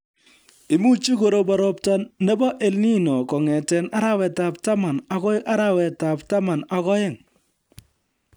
Imuchi korobon robta nebo EL Nino kong'ete arawetab taman akoi arawetab taman ak oeng